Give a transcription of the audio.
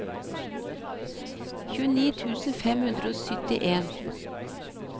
tjueni tusen fem hundre og syttien